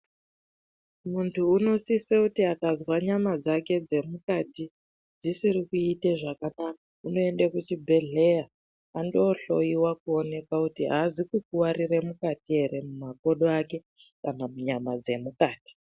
Muntu inosise kuti akazwa nyama dzake dzemukati dzisiri kuite zvakanaka, unoende kuchibhedhleya andohloiwa ,kuoneka kuti aazi kukuwarire mukati ere, mumakodo ake, kana munyama dzemukati.